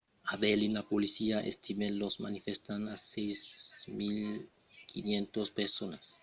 a berlin la polícia estimèt los manifestants a 6 500 personas